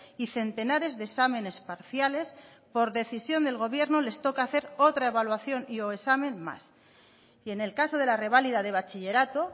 y centenares de exámenes parciales por decisión del gobierno les toca hacer otra evaluación y o examen más y en el caso de la reválida de bachillerato